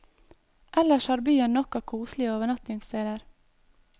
Ellers har byen nok av koselige overnattingssteder.